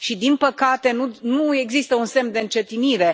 Și, din păcate, nu există un semn de încetinire.